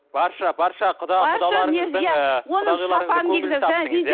барша барша құда құдаларыңыздың